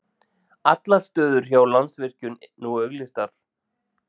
Allar stöður hjá Landsvirkjun nú auglýstar